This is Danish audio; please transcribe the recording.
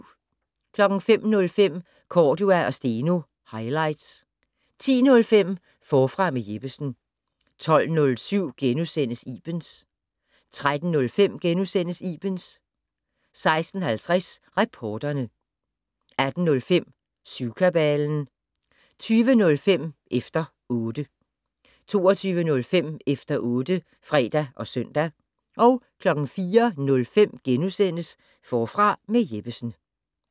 05:05: Cordua & Steno - highlights 10:05: Forfra med Jeppesen 12:07: Ibens * 13:05: Ibens * 16:50: Reporterne 18:05: Syvkabalen 20:05: Efter 0tte 22:05: Efter otte (fre og søn) 04:05: Forfra med Jeppesen *